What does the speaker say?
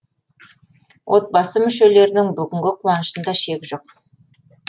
отбасы мүшелерінің бүгінгі қуанышында шек жоқ